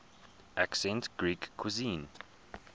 ancient greek cuisine